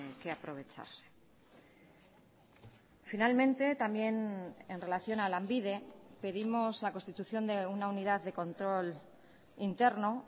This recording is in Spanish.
que aprovecharse finalmente también en relación a lanbide pedimos la constitución de una unidad de control interno